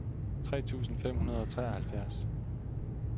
tre tusind fem hundrede og treoghalvfjerds